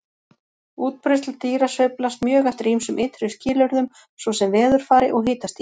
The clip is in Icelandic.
Útbreiðsla dýra sveiflast mjög eftir ýmsum ytri skilyrðum svo sem veðurfari og hitastigi.